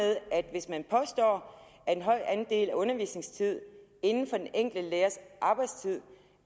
hvis man påstår at en høj andel af undervisningstid inden for den enkelte lærers arbejdstid